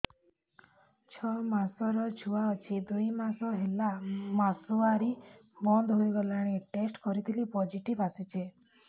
ଛଅ ମାସର ଛୁଆ ଅଛି ଦୁଇ ମାସ ହେଲା ମାସୁଆରି ବନ୍ଦ ହେଇଗଲାଣି ଟେଷ୍ଟ କରିଥିଲି ପୋଜିଟିଭ ଆସିଛି